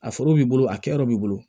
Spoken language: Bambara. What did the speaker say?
A foro b'i bolo a kɛyɔrɔ b'i bolo